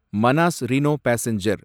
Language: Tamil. Manas rhino passenger